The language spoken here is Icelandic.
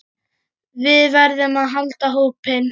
Við verðum að halda hópinn!